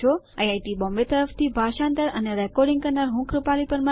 IIT Bombay તરફ થી ભાષાંતર કરનાર હું છું કૃપાલી પરમાર